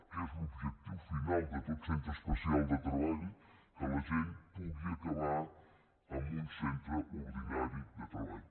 que és l’objectiu final de tot centre especial de treball que la gent pugui acabar en un centre ordinari de treball